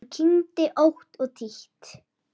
Hún kyngdi ótt og títt.